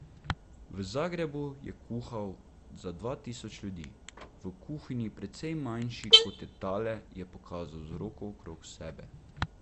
V Zagrebu je kuhal za dva tisoč ljudi, v kuhinji, precej manjši, kot je tale, je pokazal z roko okrog sebe.